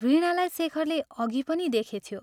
वीणालाई शेखरले अघि पनि देखेथ्यो।